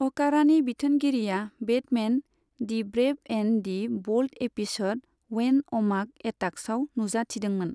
अकारानि बिथोनगिरिआ Batman, the brave and the bold episode when अमाक एटाक्सआव नुजाथिदोंमोन।